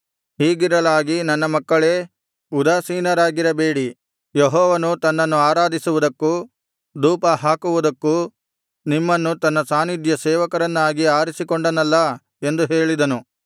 ಹೀಗಿರಲಾಗಿ ನನ್ನ ಮಕ್ಕಳೇ ಉದಾಸೀನರಾಗಿರಬೇಡಿ ಯೆಹೋವನು ತನ್ನನ್ನು ಆರಾಧಿಸುವುದಕ್ಕೂ ಧೂಪಹಾಕುವುದಕ್ಕೂ ನಿಮ್ಮನ್ನು ತನ್ನ ಸಾನ್ನಿಧ್ಯ ಸೇವಕರನ್ನಾಗಿ ಆರಿಸಿಕೊಂಡನಲ್ಲಾ ಎಂದು ಹೇಳಿದನು